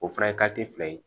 O fana fila ye